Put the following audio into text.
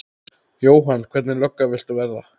Jóhann: Hvernig lögga viltu verða?